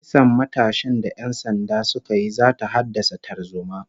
Kisan matashin da ƴan sanda suka yi zata haddasa tarzoma